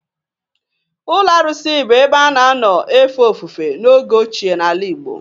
Ụlọ arụsị bụ ebe a na-anọ efe ofufe n'oge ochie n'ala Igbo.